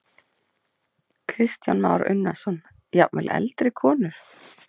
Kristján Már Unnarsson: Jafnvel eldri konur?